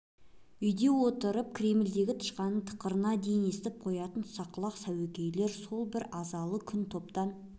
үйде отырып кремльдегі тышқанның тықырына дейін естіп қоятын сақ құлақ сәуегейлер сол бір азалы күн топтан